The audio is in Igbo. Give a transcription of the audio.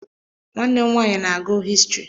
Nwanne m nwaanyị na-agụ histrị.